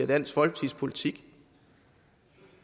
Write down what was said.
dansk folkeparti